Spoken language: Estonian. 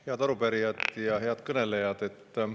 Head arupärijad ja head kõnelejad!